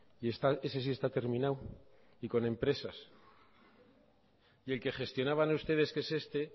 y ese sí está terminado y con empresas y el que gestionaban ustedes que es este